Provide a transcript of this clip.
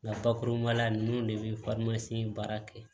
Nka bakuruba la ninnu de bɛ in baara kɛ